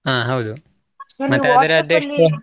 ಹಾ ಹೌದು